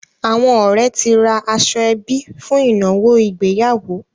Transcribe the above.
Àwọn ọ̀rẹ́ ti ra aṣọ-ẹbí fún ìnáwó ìgbéyàwó.